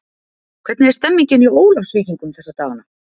Hvernig er stemmningin hjá Ólafsvíkingum þessa dagana?